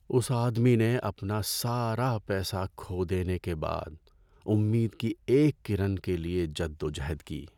اس آدمی نے اپنا سارا پیسہ کھو دینے کے بعد امید کی ایک کرن کے لیے جدوجہد کی۔